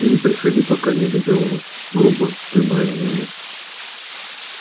и не приходи пока не позову грубо прибавила она